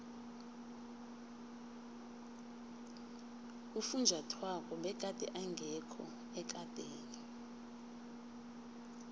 ufunjathwako begade engekho ekadeni